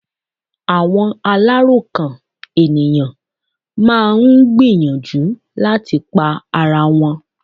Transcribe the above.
Àwọn aláròkàn ènìyàn máà ń gbìyànjú láti pa ara wọn.